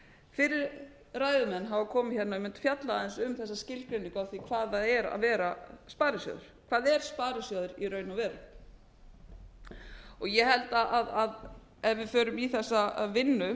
fyrri ræðumenn hafa komið hérna og einmitt fjallað aðeins um þessa skilgreiningu á því hvað það er að vera sparisjóður hvað er sparisjóður í raun og veru ég held að ef við förum í þessa vinnu